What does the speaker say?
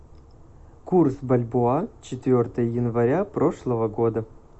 курс бальбоа четвертое января прошлого года